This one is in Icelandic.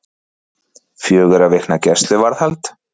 Fjögurra vikna gæsluvarðhald